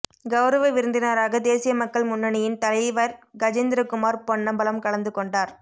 கௌரவ விருந்தினராக தேசிய மக்கள் முன்னணியின் தலை வர் கஜேந்திரகுமார் பொன்னம்பலம் கலந்து கொண்டார்